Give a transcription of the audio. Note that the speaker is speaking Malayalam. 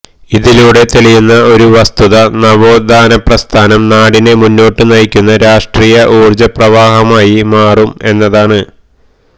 ഇതിലൂടെ തെളിയുന്ന ഒരു വസ്തുത നവോത്ഥാനപ്രസ്ഥാനം നാടിനെ മുന്നോട്ട് നയിക്കുന്ന രാഷ്ട്രീയ ഊർജപ്രവാഹമായി മാറും എന്നതാണ്